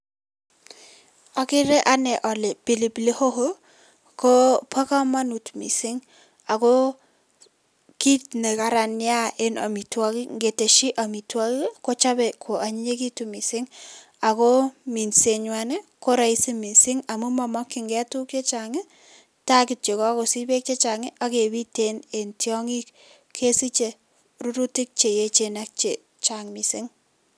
Okeree anee olee pilipili hoho koboo komonut mising akoo kiit nekaran neaa en amitwokik, ng'etesyi amitwokik kochobe ko anyinyekitun mising akoo minsenywan ko rahisi mising amu momokying'e tukuk chechang ii taakityo kakosich beek chechang akebiit en tiong'ik kesiche rurutik cheyechen ak chechang mising.